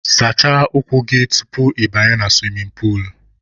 Sachaa ụkwụ gị tupu ị banye na suwimin puulu!.